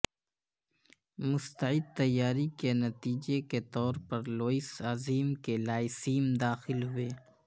مستعد تیاری کے نتیجے کے طور پر لوئس عظیم کے لائسیم داخل ہوئے